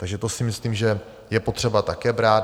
Takže to si myslím, že je potřeba také brát.